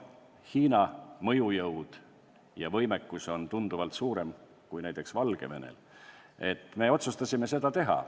Hiina mõjujõud ja võimekus on tunduvalt suuremad kui näiteks Valgevenel, aga me otsustasime selle avalduse teha.